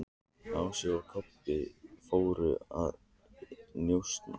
Ási og Kobbi fóru að njósna.